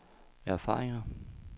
erfaringer